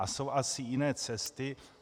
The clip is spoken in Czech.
A jsou asi jiné cesty.